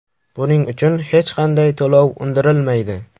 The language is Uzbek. Buning uchun hech qanday to‘lov undirilmaydi.